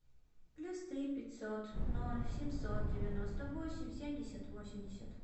плюс три пятьсот ноль семьсот девяносто восемь семьдесят восемьдесят